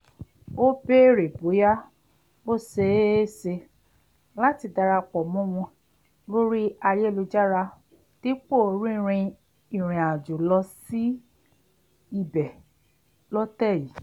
ó béèrè bóyá ó ṣeé ṣe láti darapọ̀ mọ́ wọn lórí ayélujára dípò rínrin ìrìàjò lọ sí ibẹ̀ lọ́tẹ̀ yìí